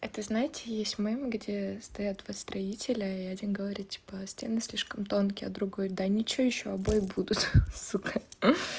это знаете есть мем где стоят два строителя и один говорит типа стены слишком тонкие а другой да ничего ещё обои будут сука